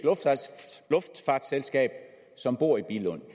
luftfartsselskab som bor i billund